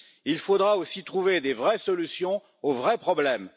il faudra aussi trouver des vraies solutions aux vrais problèmes.